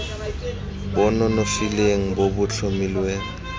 bo nonofileng bo bo tlhomilweng